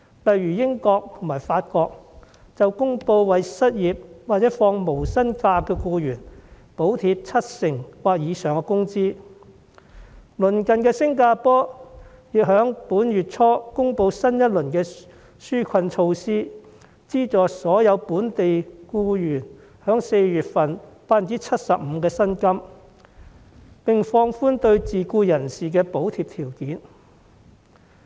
例如英國和法國公布為失業或放取無薪假的僱員，補貼七成或以上的工資；鄰近的新加坡亦在本月初公布新一輪紓困措施，資助所有本地僱員4月份薪金的 75%， 並放寬對自僱人士的補貼條件。